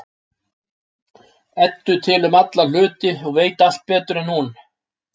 Eddu til um alla hluti og veit allt betur en hún.